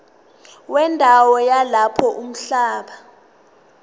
wendawo yalapho umhlaba